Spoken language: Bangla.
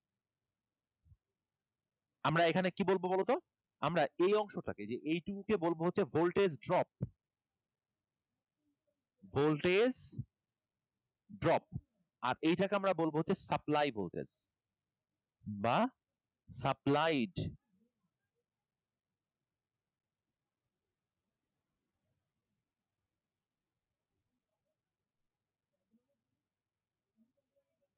Voltage drop আর এটাকে আমরা বলবো হচ্ছে supply voltage বা supplied.